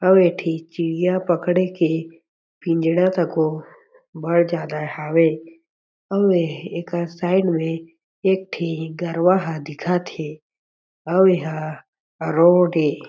अउ ए ठी चिड़िया पकडे के पिंजरा तको बड़ जादा हावे अउ एकर साइट में एक ठी गड़वा ह दिखत हे अउ एहा रोड हे।